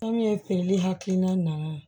Kɔmi feereli hakilina nana